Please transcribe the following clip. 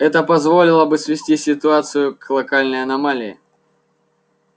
это позволило бы свести ситуацию к локальной аномалии